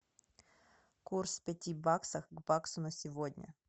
курс пяти баксов к баксу на сегодня